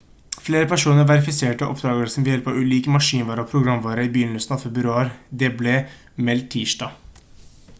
flere personer verifiserte oppdagelsen ved hjelp av ulik maskinvare og programvare i begynnelsen av februar det ble meldt tirsdag